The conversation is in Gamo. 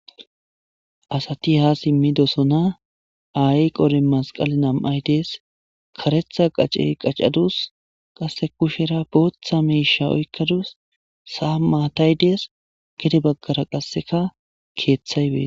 Asati ha simmidosona ay qore masqale nam'ay dees karetha qacey qacadus qasse kushera booththa miisha oykkadus saa maatay dees gede baggara qasseka keeththay beee.